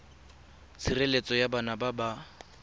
tshireletso ya bana ba ba